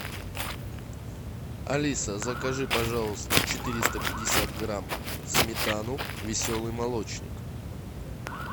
алиса закажи пожалуйста четыреста пятьдесят грамм сметану веселый молочник